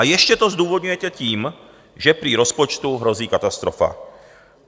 A ještě to zdůvodňujete tím, že prý rozpočtu hrozí katastrofa.